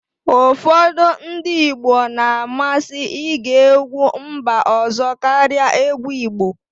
ụfọdụ ndị Igbo na-amasị ige egwu mba ọzọ karịa egwu Igbo